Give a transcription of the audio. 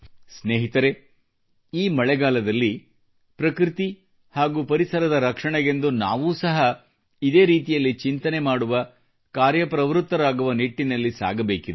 ಸ್ನೇಹಿತರೇ ಈ ಮಳೆಗಾಲದಲ್ಲಿ ಪ್ರಕೃತಿ ಹಾಗೂ ಪರಿಸರದ ರಕ್ಷಣೆಗೆಂದು ನಾವೂ ಸಹ ಇದೇ ರೀತಿಯಲ್ಲಿ ಚಿಂತನೆ ಮಾಡುವ ಕಾರ್ಯಪ್ರವೃತ್ತರಾಗುವ ನಿಟ್ಟಿನಲ್ಲಿ ಸಾಗಬೇಕಿದೆ